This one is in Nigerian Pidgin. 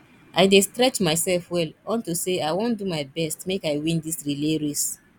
i dey stretch myself well unto say i wan do my best make i win dis relay race